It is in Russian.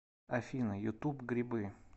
афина ютуб грибы